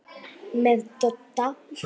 Það eru hermenn þar, jú.